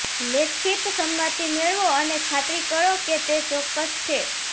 લેખિત સંમતિ મેળવો અને ખાતરી કરો કે તે ચોક્કસ છે